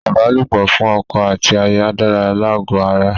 Ìbálòpọ̀ fún ọkọ àti aya dára lágó ara.